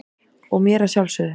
og mér að sjálfsögðu.